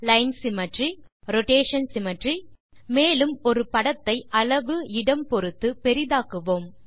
line symmetry rotation symmetry மேலும் ஒரு படத்தை அளவு இடம் பொருத்து பெரிதாக்குவோம்